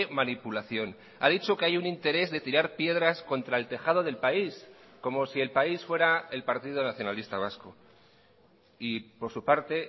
manipulación ha dicho que hay un interés de tirar piedras contra el tejado del país como si el país fuera el partido nacionalista vasco y por su parte